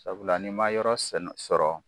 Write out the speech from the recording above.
Sabula ni ma yɔrɔ sɛnɛ sɔrɔ